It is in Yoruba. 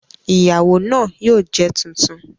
Ìyàwó náà yóò jẹ tuntun